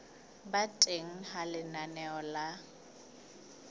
ba teng ha lenaneo la